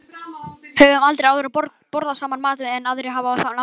Höfum aldrei áður borðað saman mat sem aðrir hafa lagað.